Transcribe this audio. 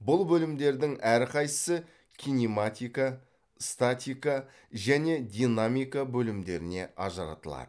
бұл бөлімдердің әрқайсысы кинематика статика және динамика бөлімдеріне ажыратылады